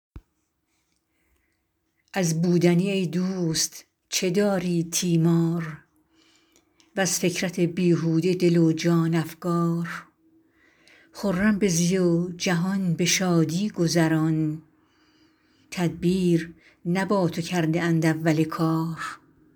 از بودنی ای دوست چه داری تیمار وز فکرت بیهوده دل و جان افکار خرم بزی و جهان به شادی گذران تدبیر نه با تو کرده اند اول کار